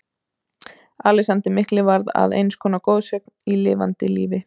Alexander mikli varð að eins konar goðsögn í lifanda lífi.